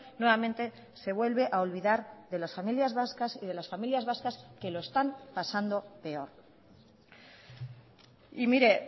nuevamente se vuelve a olvidar de las familias vascas y de las familias vascas que lo están pasando peor y mire